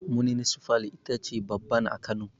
Muninsifal ita ce babban a Kano